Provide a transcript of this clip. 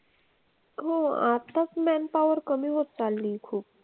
हो आपलाच man power कमी होत चाललीय खूप.